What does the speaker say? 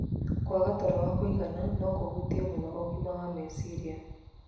Kwaga toro wa kũigana no kũhutie mũno ũgima wa meciria.